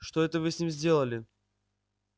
что это вы с ним сделали